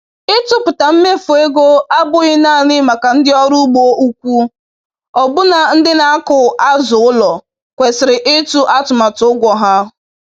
Ịtụpụta mmefu ego abụghị naanị maka ndị ọrụ ugbo ukwu; ọbụna ndị na-akụ azụ ụlọ kwesịrị ịtụ atụmatụ ụgwọ ha